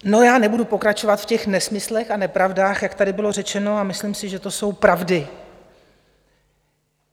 No, já nebudu pokračovat v těch nesmyslech a nepravdách, jak tady bylo řečeno, a myslím si, že to jsou pravdy.